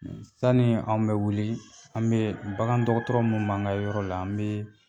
Sani an bɛ wuli an bɛ bagandɔgɔtɔrɔ min b'an ka yɔrɔ la an bɛ